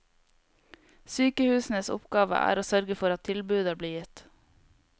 Sykehusenes oppgave er å sørge for at tilbudet blir gitt.